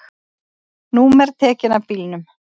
Númer tekin af bílum